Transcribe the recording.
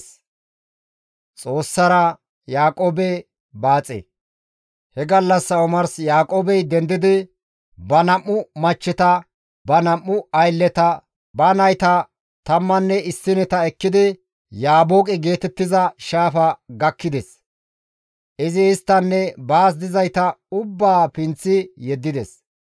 He gallassa omars Yaaqoobey dendidi, ba nam7u machcheta, ba nam7u aylleta ba nayta tammanne issineta ekkidi Yaabooqe geetettiza shaafa gakkides; izi isttanne baas dizayta ubbaa pinththi yeddides;